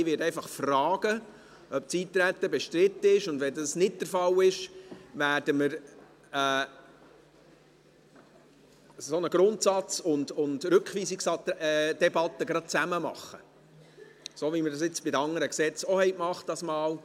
Ich werde einfach fragen, ob das Eintreten bestritten ist, und wenn das nicht der Fall ist, werden wir gleich zusammen eine Grundsatz- und Rückweisungsdebatte abhalten, so wie wir es dieses Mal bei den anderen Gesetzen auch gemacht haben.